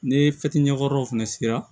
Ni ɲɛkɔrɔw fana sigira